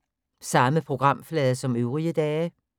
Samme programflade som øvrige dage